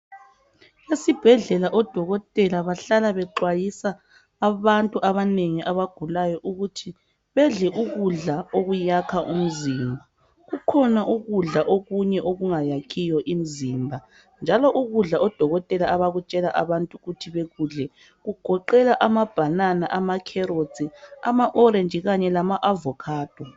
Esibhedlela odokotela bahlala bexwayisa abantu abanengi abagulayo ukuthi bedle ukudla okuyakha umzimba kukhona ukudla okunye okungayakhiyo imizimba njalo ukudla odokotela abakutshela abantu ukuthi bekudle kugoqela amabanana, amakherotsi amaorenji kanye lama avocado.